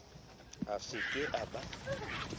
a se ke a ba